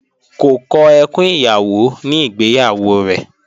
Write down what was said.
Kò kọ ẹkùn ìyàwó ní ìgbéyàwó rẹ̀